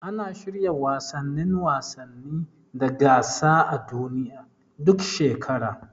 Ana shirya wasannin wasanni da gasa a duniya, duk shekara.